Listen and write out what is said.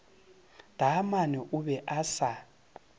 taamane o be a sa